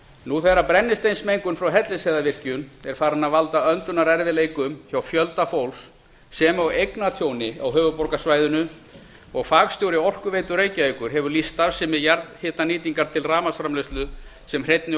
nú þegar brennisteinsmengun frá hellisheiðarvirkjun er farin að valda öndunarerfiðleikum hjá fjölda fólks sem og eignatjóni á höfuðborgarsvæðinu og fagstjóri orkuveitu reykjavíkur hefur lýst starfsemi jarðhitanýtingar til rafmagnsframleiðslu sem hreinni og